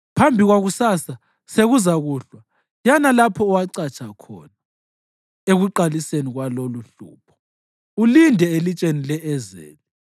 Phambi kwakusasa, sekuzakuhlwa, yana lapho owacatsha khona ekuqaliseni kwaloluhlupho, ulinde elitsheni e-Ezeli.